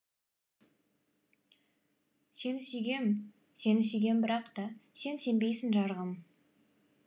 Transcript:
сені сүйгем сені сүйгем бірақта сен сенбейсің жарығым